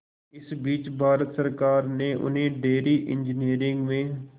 इस बीच भारत सरकार ने उन्हें डेयरी इंजीनियरिंग में